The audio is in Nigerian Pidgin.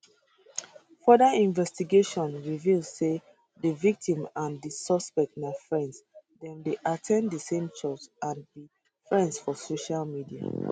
further investigation reveal say di victim and di suspect na friends dem dey at ten d di same church and be friends for social media